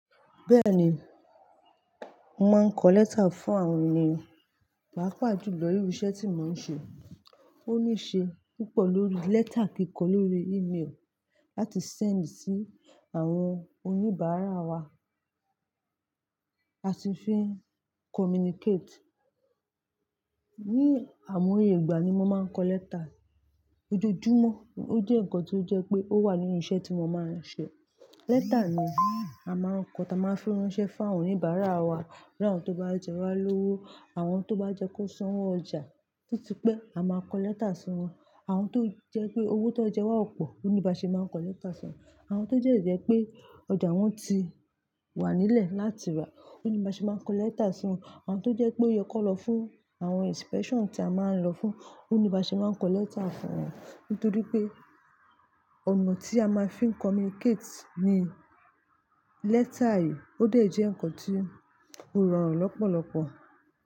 Bẹ́ẹ̀ni, mo máa ń kọ lẹ́tà fún àwọn ènìyàn, pàápàá jùlọ nínú iṣẹ́ tí mo ń ṣe. Ó ní ṣe púpọ̀ lórí lẹ́tà kíkọ, lórí email láti send sí àwọn oníbàárà wa. A sì fi ń communicate. Ni àwọn oyè ìgbà ni mo máa ń kọ lẹ́tà. Ojoojúmọ́, ó jẹ́ ǹkan tó jẹ́ pé ó wà nínú iṣẹ́ tí mo máa ń ṣe. Lẹ́tà ni a máa ń kọ, táa máa fi ránṣẹ́ fáwọn oníbàárà wa. Bí àwọn tó bá jẹ wá lówó, àwọn tó bá jẹ kó san owó ọjà, títí pé a máa kọ lẹ́tà si wọ́n. Àwọn tó jẹ́ pé owó tó jẹ wá pọ̀, òní bá ṣe máa ń kọ lẹ́tà sun wọ́n. Àwọn tó de je pé ọjà wọn ti wà nílẹ̀ láti rà, òní bá ṣe máa ń kọ lẹ́tà si wọ́n. Àwọn tó jẹ́ pé ó yẹ kó n lọ fún àwọn inspection tí a máa ń lọ fún, òní bá ṣe máa ń kọ lẹ́tà fún wọn. Nítorí pé ọ̀nà tí a máa fi ń communicate ni lẹ́tà yìí. Ó de jẹ́ ǹnkan tí ó rọrùn lọ́pọ̀lọpọ̀